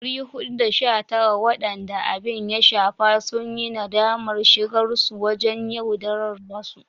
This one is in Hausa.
419 waɗanda abin ya shafa sun yi nadamar shigarsu wajen yaudarar wasu.